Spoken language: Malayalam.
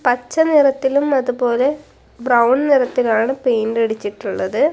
പച്ച നിറത്തിലും അതുപോലെ ബ്രൗൺ നിറത്തിലുമാണ് പെയിന്റ് അടിച്ചിട്ടുള്ളത്.